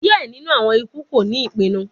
Diẹ ninu awọn iku ko ni ipinnu